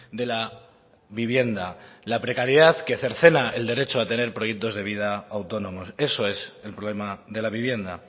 de la vivienda la precariedad que cercena el derecho a tener proyectos de vida autónomos eso es el problema de la vivienda